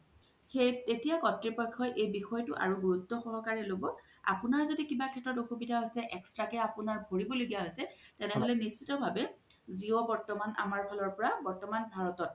তেতিয়া কত্ৰিপইখ্যো এই বিষয়তো আৰু গুৰুত্যো সহকাৰে ল্'ব আপুনাৰ জদি কিব সেস্ত্ৰতে কিবা আসুবিধা ইছে extra কে আপুনাৰ ভৰিব লগিয়া ইছে তেনেহলে নিশিত্য ভাবে জিঅ' বৰ্তমান আমৰ ফালৰ পৰা বৰ্তমান ভাৰতত